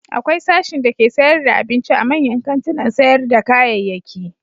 Akwai sashin dake sayar da abinci a manyan kantunan sayar da kayayyaki.